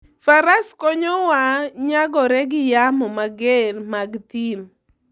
Faras konyowa nyagore gi yamo mager mag thim.